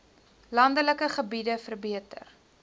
landelike gebiede verbeter